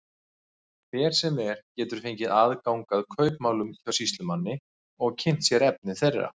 Hver sem er getur fengið aðgang að kaupmálum hjá sýslumanni og kynnt sér efni þeirra.